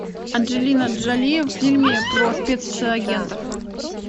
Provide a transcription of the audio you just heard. анджелина джоли в фильме про спецагентов